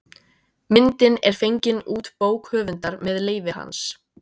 Myndin er fengin út bók höfundar með leyfi hans.